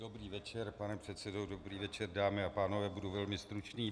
Dobrý večer, pane předsedo, dobrý večer, dámy a pánové, budu velmi stručný.